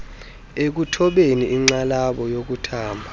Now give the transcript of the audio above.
ekuthobeni inxalabo yokuthamba